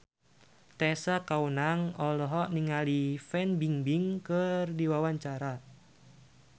Tessa Kaunang olohok ningali Fan Bingbing keur diwawancara